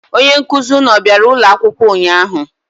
Onye nkụzị ụnụ ọ bịara ụlọ akwụkwọ ụnyaahụ?